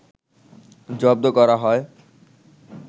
জব্ধ করা হয়